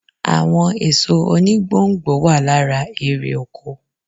Àwọn èso oni gbò n gbò wà lára eré oko